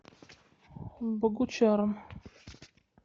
богучаром